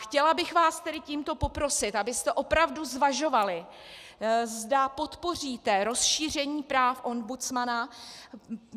Chtěla bych vás tedy tímto poprosit, abyste opravdu zvažovali, zda podpoříte rozšíření práv ombudsmana.